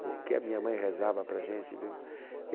Porque a minha mãe rezava para a gente, viu?